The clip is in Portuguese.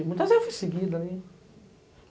Muitas vezes eu fui seguida ali.